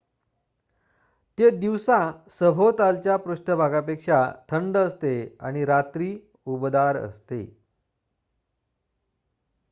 """ते दिवसा सभोवतालच्या पृष्ठभागापेक्षा थंड असते आणि रात्री उबदार असते.